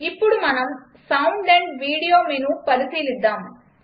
ఇప్పుడు మనం sound AMP video menu పరిశీలిద్దాం